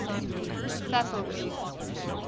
sasolburg